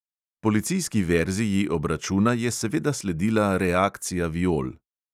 Policijski verziji obračuna je seveda sledila reakcija viol.